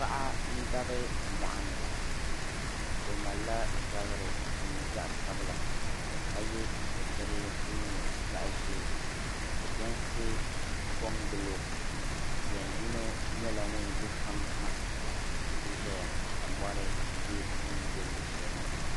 Paɣa n-dabi mɔɣuni. O malila zabiri din nyɛ zaɣ' sabila ka ye sitirili din nyɛ zaɣ' ʒee ka jɛnsi kɔŋgili o. Jɛn' yino nyɛla ŋun yi kpaŋa ha nti zaya ka mɔri be bɛ ni be luɣishɛli maa.